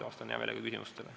Vastan heameelega küsimustele.